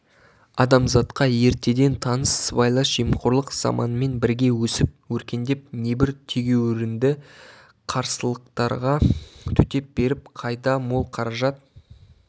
адамзатқа ертеден таныс сыбайлас жемқорлық заманмен бірге өсіп-өркендеп небір тегеурінді қарсылықтарға төтеп беріп қайда мол қаражат